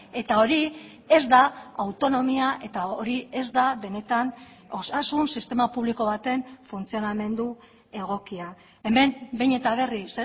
eta hori ez da autonomia eta hori ez da benetan osasun sistema publiko baten funtzionamendu egokia hemen behin eta berriz